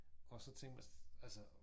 Og så tænkt man altså